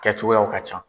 Kɛ cogoyaw ka ca